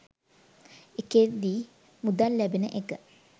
ඒකෙදි මුදල් ලැබෙන එක